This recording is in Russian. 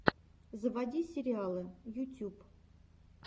заводи сериалы ютюб